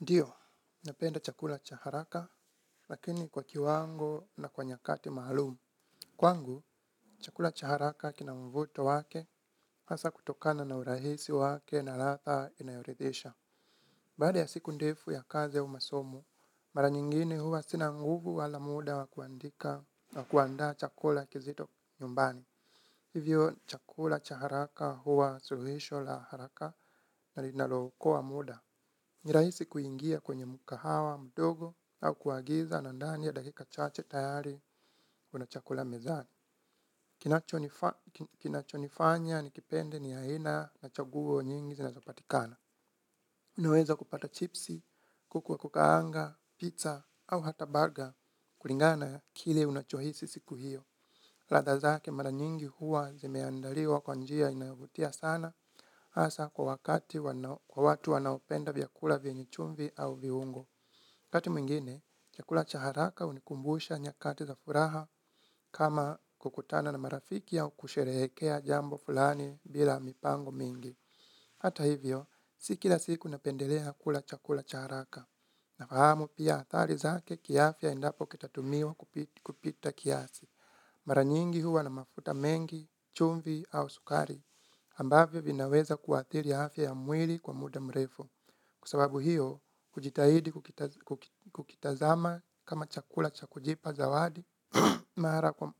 Ndio, napenda chakula cha haraka, lakini kwa kiwango na kwa nyakati mahalum. Kwangu, chakula cha haraka kina mvuto wake, hasa kutokana na urahisi wake na ladha inayoridhisha. Baada ya siku ndefu ya kazi au masomo, mara nyingine huwa sina nguvu wala muda wa kuandika na kuandaa chakula kizito nyumbani. Hivyo, chakula cha haraka huwa suluhisho la haraka na linalo okoa muda. Nirahisi kuingia kwenye mukahawa, mdogo, au kuagiza na ndani ya dakika chache tayari unachakula mezani. Kinacho nifa kinachonifanya nikipende ni haina na chaguo nyingi zinazopatikana. Unaweza kupata chipsi, kuku wa kukaanga, pizza, au hata burger, kulingana kile unachohisi siku hiyo. Ladha zake mara nyingi huwa zimeandaliwa kwa njia inayovutia sana hasa kwa wakati kwa watu wanaopenda vyakula vyenye chumvi au viungo. Kati mwingine, chakula cha haraka unikumbusha nyakati za furaha kama kukutana na marafiki au kusherehekea jambo fulani bila mipango mingi. Hata hivyo, si kila siku napendelea kula chakula cha haraka. Nafahamu pia athari zake kiafya endapo kitatumiwa kupita kiasi. Mara nyingi huwa na mafuta mengi, chumvi au sukari, ambavyo vinaweza kuathiri afya ya mwili kwa muda mrefu. Kwa sababu hiyo, hujitahidi kukitazama kama chakula cha kujipa zawadi,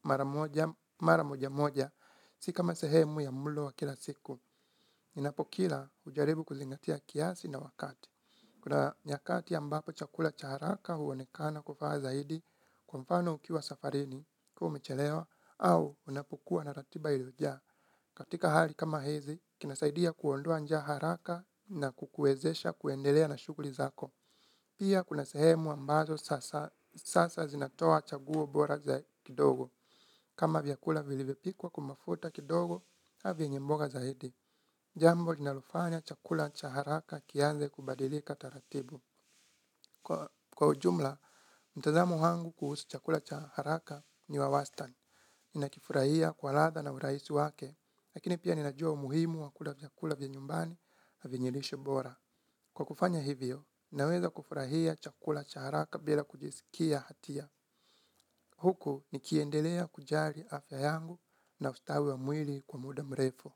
mara moja moja, si kama sehemu ya mulo wa kila siku. Ninapokila ujaribu kuzingatia kiasi na wakati. Kuna nyakati ambapo chakula cha haraka huonekana kufaa zaidi kwa mfano ukiwa safarini kama umechelewa au unapokuwa na ratiba ilizojaa. Katika hali kama hizi, kinasaidia kuondoa njaa haraka na kukuezesha kuendelea na shugli zako. Pia kuna sehemu ambazo sasa zinatoa chaguo bora kidogo. Kama vyakula vilivyopikwa kwa mafuta kidogo, ka vyienye mboga zaidi. Jambo linalofanya chakula cha haraka kianze kubadilika taratibu. Kwa ujumla, mtazamo wangu kuhusu chakula cha haraka ni wa wastan. Nina kifurahia kwa ladha na uraisi wake, lakini pia ninajua umuhimu wa kula vyakula vya nyumbani vyenye lishe bora. Kwa kufanya hivyo, naweza kufurahia chakula cha haraka bila kujisikia hatia. Huku nikiendelea kujali afya yangu na ustawi wa mwili kwa muda mrefu.